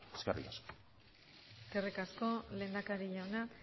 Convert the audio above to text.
eskerrik asko eskerrik asko lehendakari jauna